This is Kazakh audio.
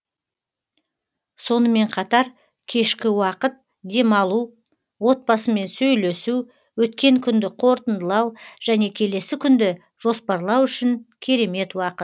сонымен қатар кешкі уақыт демалу отбасымен сөйлесу өткен күнді қорытындылау және келесі күнді жоспарлау үшін керемет уақыт